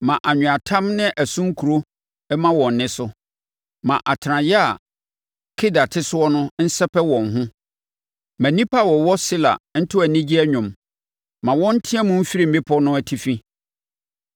Ma anweatam ne ɛso nkuro mma wɔn nne so; ma atenaeɛ a Kedar te soɔ no nsɛpɛ wɔn ho. Ma nnipa a wɔwɔ Sela nto anigye dwom; ma wɔn nteam mfiri mmepɔ no atifi!